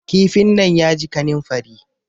kifin nan ya ji kaninfari